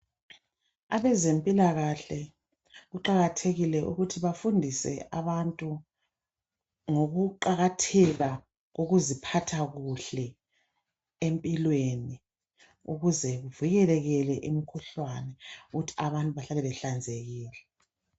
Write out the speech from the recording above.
Abezempilakahle kaqakathekile ukuthi bafundise abantu, ngokuqakatheka kokuziphatha kuhle empilweni, ukuze kuvikelekele imikhuhlane ukuze abantu behlale ehlanzekile.